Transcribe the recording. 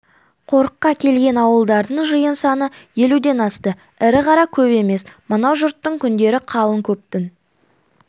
қорыққа келген ауылдардың жиын саны елуден асты ірі қара көп емес мынау жұттың күндері қалың көптің